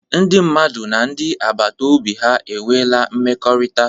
Ndị mmadụ na ndị agbata obi ha enweela mmekọrịta.